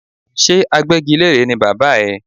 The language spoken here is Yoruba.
Ṣé agbẹ́gilére ni bàbá ẹ?